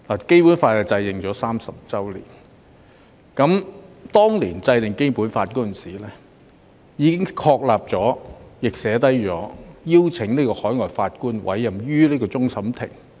《基本法》已頒布30年，當年制定《基本法》時，已經訂明終審法院可邀請海外法官參加審判。